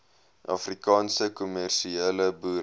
afrikaanse kommersiële boere